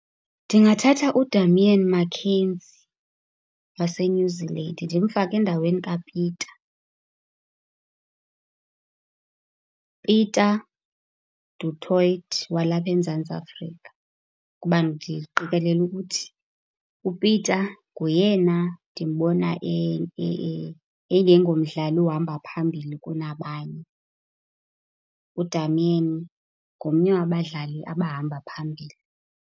Ndingathatha uDamian McKenzie waseNew Zealand ndimfake endaweni kaPieter, Pieter du Toit walapha eMzantsi Afrika kuba ndiqekelela ukuthi uPieter ngoyena ndimbona engengomdlali uhamba phambili kunabanye. UDamian ngomnye wabadlali abahamba phambili.